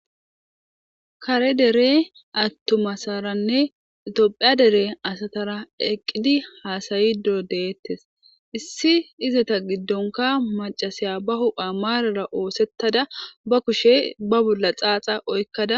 Kare dere atuma asaranee itophey dere asatara eqidi hasayishe do'otes issi izata gidonika maca ba hipheya mara osetada ba kushe ba bolla xaxa oyikada